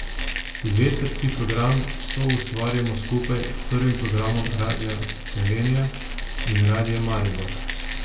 Silvestrski program soustvarjamo skupaj s prvim programom Radia Slovenija in Radiem Maribor.